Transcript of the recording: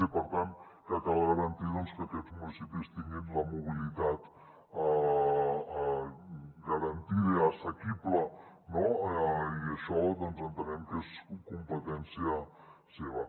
i per tant que cal garantir doncs que aquests municipis tinguin la mobilitat garantida i assequible no i això entenem que és competència seva